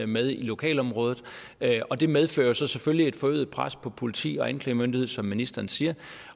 med i lokalområdet og det medfører jo så selvfølgelig et forøget pres på politi og anklagemyndighed som ministeren siger